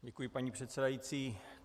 Děkuji, paní předsedající.